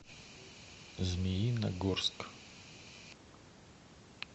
змеиногорск